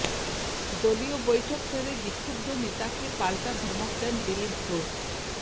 দলীয় বৈঠক সেরে বিক্ষুব্ধ নেতাকে পাল্টা ধমক দেন দিলীপ ঘোষ